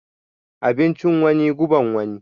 Abincin wani, guban wani.